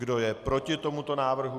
Kdo je proti tomuto návrhu?